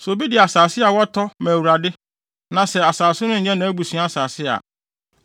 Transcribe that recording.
“ ‘Sɛ obi de asase a watɔ ma Awurade, na sɛ asase no nyɛ nʼabusua asase a,